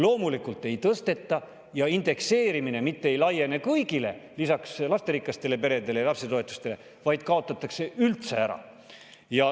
Loomulikult ei tõsteta ja indekseerimine mitte ei laiene kõigile, lisaks lasterikastele peredele ja lapsetoetustele, vaid kaotatakse üldse ära.